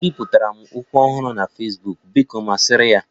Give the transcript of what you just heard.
M biputere ukwu ọhụrụ na Fesbuk, biko masịrị ya